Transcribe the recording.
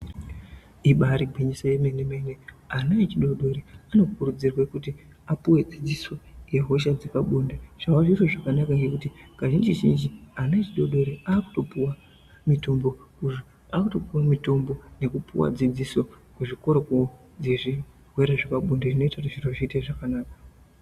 Ibari gwinyiso yemene-mene. Ana echidodori anokurudzirwe kuti apuwe dzidziso yehosha dzepabonde zvava zviro zvakanakahe kuti kazhinji-zhinji ana adodori akutopuwa mitombo nekupuwa dzidziso kuzvikoro kwavo dzezvirwere zvepabonde zvinoita kuti zviro zviite zvakanaka.